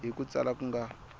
hi ku tsala ku nga